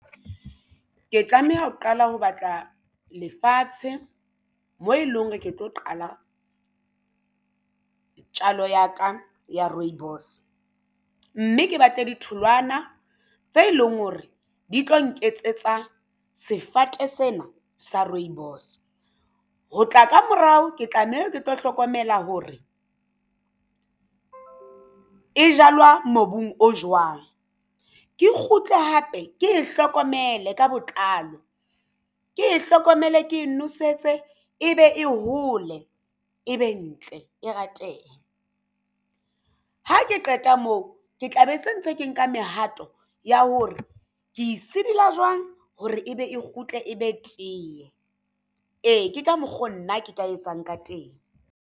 Ke tlameha ho qala ho batla lefatshe moo e leng hore ke tlo qala tjalo ya ka ya rooibos mme ke batle ditholwana tse leng hore di tlo nketsetsa sefate sena sa rooibos. Ho tla ka morao ke tlameha ke tlo hlokomela hore e jalwa mobung o jwang. Ke kgutle hape ke hlokomele ka botlalo ke hlokomele ke nosetse e be e hole ebe ntle e ratehe. Ha ke qeta moo ke tla be se ntse ke nka mehato ya hore ke sidila jwang hore ebe e kgutle e be teye. Ee, ke ka mokgo nna ke ka etsang ka teng.